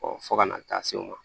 fo ka na taa se o ma